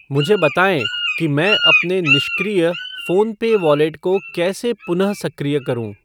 मुझे बताएँ कि मैं अपने निष्क्रिय फ़ोन पे वॉलेट को कैसे पुनः सक्रिय करूँ।